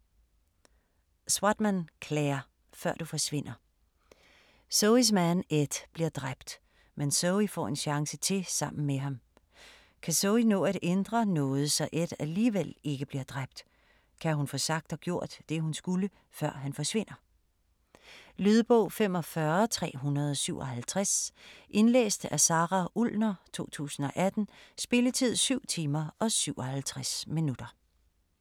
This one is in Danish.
Swatman, Clare: Før du forsvinder Zoes mand Ed bliver dræbt, men Zoe får en chance til sammen med ham. Kan Zoe nå at ændre noget, så Ed alligevel ikke bliver dræbt? Kan hun få sagt og gjort det hun skulle, før han forsvinder? Lydbog 45357 Indlæst af Sara Ullner, 2018. Spilletid: 7 timer, 57 minutter.